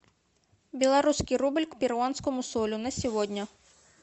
белорусский рубль к перуанскому солю на сегодня